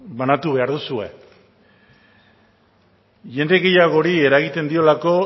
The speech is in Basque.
banatu behar duzue jende gehiagori eragiten diolako